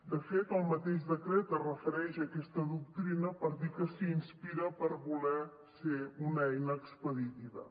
de fet el mateix decret es refereix a aquesta doctrina per dir que s’hi inspira per voler ser una eina expeditiva